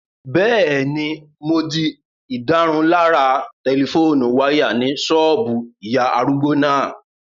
Bẹ́ẹ̀ni, mo di ìdárunlárà tẹlifóònù wáyà ní ṣọ́ọ̀bù ìyá arúgbó náà